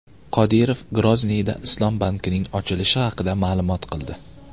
Qodirov Grozniyda islom bankining ochilishi haqida ma’lum qildi.